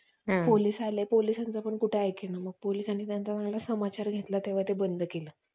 ते बंद करा रे. फक्त चांगलं खेळावं, चांगलं करावं, चांगलं बनवावं.